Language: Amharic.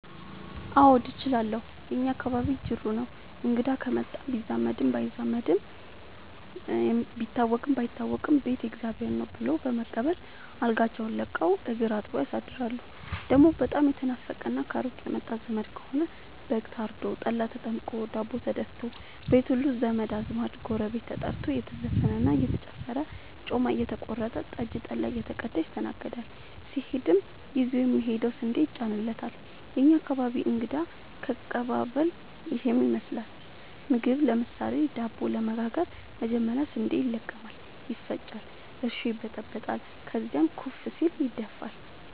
አዎድ እችላለሁ የእኛ አካባቢ ጅሩ ነው። እንግዳ ከመጣ ቢዛመድም ባይዛመድም ቢታወቅም ባይታወቅም ቤት የእግዜር ነው። ብሎ በመቀበል አልጋቸውን ለቀው እግር አጥበው ያሳድራሉ። ደሞ በጣም የተናፈቀና ከሩቅ የመጣ ዘመድ ከሆነ በግ ታርዶ፤ ጠላ ተጠምቆ፤ ዳቦ ተደፋቶ፤ ቤት ሙሉ ዘመድ አዝማድ ጎረቤት ተጠርቶ እየተዘፈነ እየተጨፈረ ጮማ እየተቆረጠ ጠጅ ጠላ እየተቀዳ ይስተናገዳል። ሲሄድም ይዞ የሚሄደው ስንዴ ይጫንለታል። የእኛ አካባቢ እንግዳ ከቀባበል ይህን ይመስላል። ምግብ ለምሳሌ:- ዳቦ ለመጋገር መጀመሪያ ስንዴ ይለቀማል ይፈጫል እርሾ ይበጠበጣል ከዚያም ኩፍ ሲል ይደፋል።